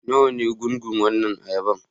Nawa ne gungun wannan ayaban?